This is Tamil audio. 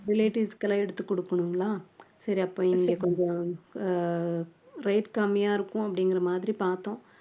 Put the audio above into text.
relatives க்கு எல்லாம் எடுத்து கொடுக்கணுங்களா சரி அப்ப எங்களுக்கு கொஞ்சம் அஹ் rate கம்மியா இருக்கும் அப்படிங்கிற மாதிரி பார்த்தோம்